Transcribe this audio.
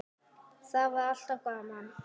Það var alltaf gaman.